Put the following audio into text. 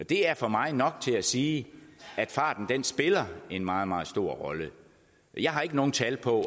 det er for mig nok til at sige at farten spiller en meget meget stor rolle jeg har ikke nogen tal på